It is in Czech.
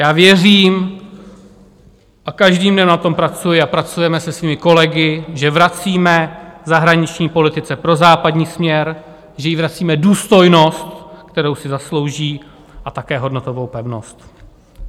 Já věřím, a každým dnem na tom pracuji a pracujeme se svými kolegy, že vracíme zahraniční politice prozápadní směr, že jí vracíme důstojnost, kterou si zaslouží, a také hodnotovou pevnost.